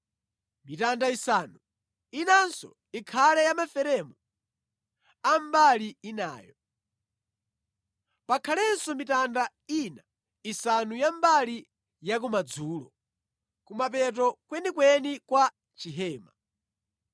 mitanda isanu inanso ikhale ya maferemu a mbali inayo. Pakhalenso mitanda ina isanu ya mbali yakumadzulo, kumapeto kwenikweni kwa chihema.